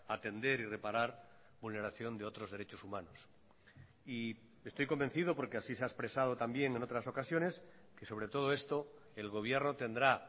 atender y reparar vulneración de otros derechos humanos y estoy convencido porque así se ha expresado también en otras ocasiones que sobre todo esto el gobierno tendrá